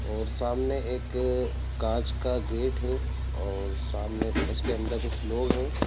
और सामने एक कांच का गेट है और सामने उसके अंदर कुछ लोग हैं।